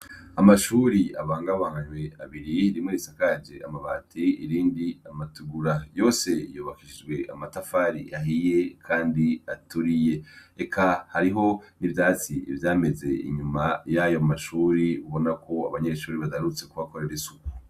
Amashure abangabanganywe abiri rimwe risakaje amabati irindi amatugura yose yubakishije amatafari ahiye kandi aturiye. Eka hariho n'ivyatsi vyameze inyuma y'ayomashure ubonako abanyeshure badarutse kuhakorera isuku.